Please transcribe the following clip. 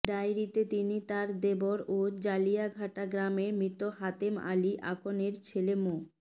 ডায়েরিতে তিনি তার দেবর ও জালিয়াঘাটা গ্রামের মৃত হাতেম আলী আকনের ছেলে মো